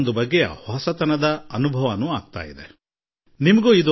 ವಿಜ್ಞಾನಿಗಳ ಮುನ್ಸೂಚನೆಯಂತೆ ಹೇಳುವುದಾದರೆ ಈ ಬಾರಿ ವ್ಯಾಪಕ ಮತ್ತು ವರ್ಷ ಋತುವಿನಾದ್ಯಂತ ಉತ್ತಮ ಮಳೆಯಾಗಲಿದೆ